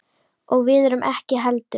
Og við ekki heldur.